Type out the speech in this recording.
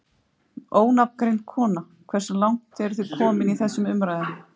Ónafngreind kona: Hversu langt eru þið komin í þessum umræðum?